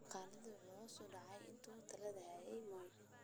Dhaqaaluhu waxa uu hoos u dhacay intii uu talada hayay Moi.